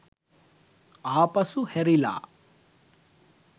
ආපසු හැරිල